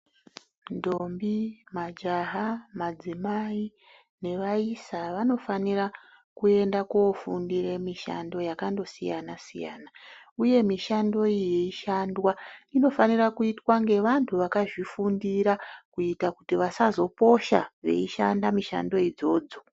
Ndombi ,majaha, madzimai nevaisa vanofanira kuenda kofundire mishando yakondosiyanasiyana uye mishando iyi yeishandwa inofanire kuitwa ngevantu vakazvifundira kuita kuti vasazoposha veishanda mishando idzodzo.